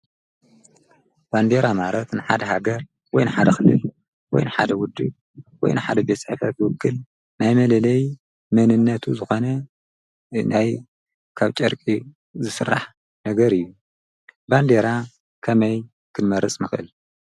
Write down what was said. ባንዴራ ማረት ንሓድ ሃገር ወይ ን ሓደ ኣኽልል ወይ ን ሓደ ውድ ወይ ን ሓደ ቤጽዕፈ ፍወክል ናይ መለለይ መንነቱ ዝኾነ እናይ ካብ ጨርቂ ዝፍራሕ ነገር እዩ ባንዴይራ ከመይ ክመርጽ ምኽእል?